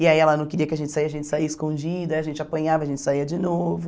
E aí ela não queria que a gente saia, a gente saia escondida, aí a gente apanhava, a gente saia de novo.